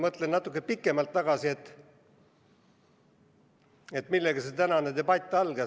Ma mõtlen natuke pikemalt tagasi, et millega see tänane debatt algas.